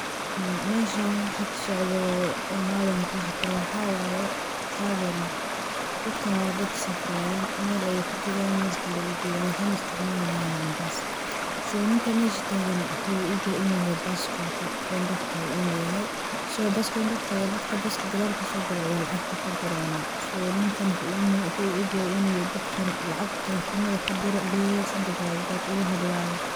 Meshaan wixi ka socdo haa waan qeexi karaa ,waxaa waye travelling dadkaan waa dad safrayaan meel ayey ka tagayaan meel kale ayeey u jedaan ,waxeyna isticmalayaan bus . so ninka meesha tagan waxuu u eg yahay inuu yahay bus conductor ga inuu yahay, so bus conductor ga dadka gadaal kasoo gale ayey lacagta ka guranaa. so ninkan waxuu u eg yahay in dadkan lacag telefanada ka dira leyahay, something like that uu la hadlaayo.